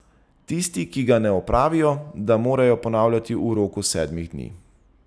Tisti, ki ga ne opravijo, da morajo ponavljati v roku sedmih dni.